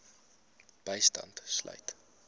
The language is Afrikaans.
bystand sluit